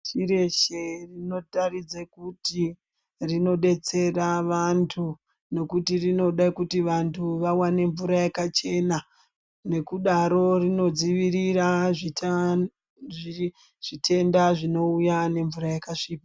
Pashi reshe rinotaridze kuti rinodetsera vantu nekuti rinoda Kuti vantu vawane mvura yakachena nekudaro rinodzivirira zvitenda zvinouya nemvura yakasvipa.